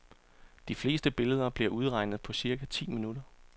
De fleste billeder bliver udregnet på cirka ti minutter.